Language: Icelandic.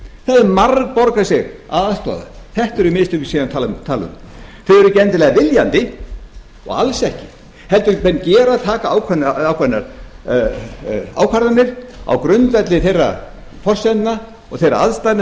það hefði margborgað sig að aðstoða þetta eru mistökin sem ég er að tala um þau eru ekki endilega viljandi og alls ekki heldur taka menn ákveðnar ákvarðanir á grundvelli þeirra forsendna og þeirra aðstæðna